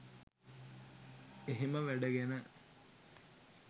එහෙම වැඩ ගැන